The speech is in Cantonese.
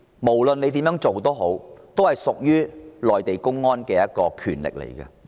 無論如何，批准的權力屬於內地公安。